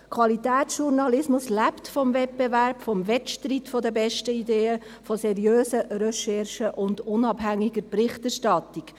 Qualitätsjournalismus lebt vom Wettbewerb, vom Wettstreit der besten Ideen, von seriösen Recherchen und unabhängiger Berichterstattung.